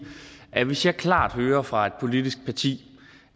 at hvis jeg klart hører fra et politisk parti